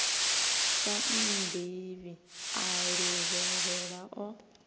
sa nnḓivhi a luvhelela o